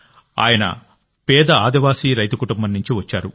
ఆయన పేద ఆదివాసీ రైతు కుటుంబం నుండి వచ్చారు